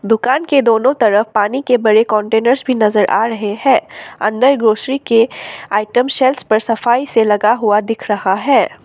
दुकान के दोनों तरफ पानी के बड़े कंटेनर्स भी नजर आ रहे हैं अंदर ग्रॉसरी के आइटम शेलवस पर सफाई से लगा हुआ दिख रहा है।